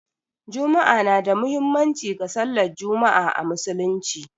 Juma'a na da muhimmanci ga sallar Juma'a a Musulunci.